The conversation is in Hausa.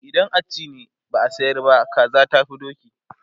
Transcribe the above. idan a ci ne, ba a sayar ba, kaza tafi doki